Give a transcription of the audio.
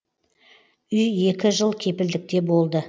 үй екі жыл кепілдікте болды